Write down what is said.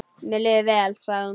Mér líður vel, sagði hún.